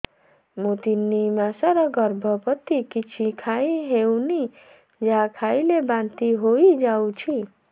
ମୁଁ ତିନି ମାସର ଗର୍ଭବତୀ କିଛି ଖାଇ ହେଉନି ଯାହା ଖାଇଲେ ବାନ୍ତି ହୋଇଯାଉଛି